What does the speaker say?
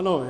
Ano.